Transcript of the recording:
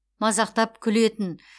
мазақтап күлетін